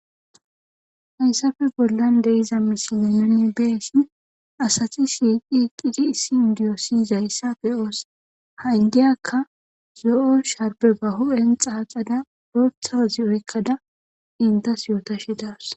hayssafe bollan deiza misilion beesin asati shiiqi qidi issi indiyo siyizayssa fe oos ha indiyakka zo7o sharbe bahu7en xaaxada roothawazi oykkada intas yootashi das